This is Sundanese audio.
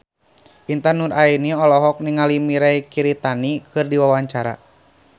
Intan Nuraini olohok ningali Mirei Kiritani keur diwawancara